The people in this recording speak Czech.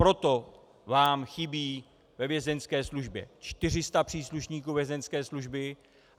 Proto vám chybí ve Vězeňské službě 400 příslušníků Vězeňské služby.